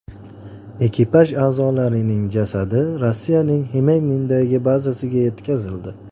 Ekipaj a’zolarining jasadi Rossiyaning Xmeymimdagi bazasiga yetkazildi.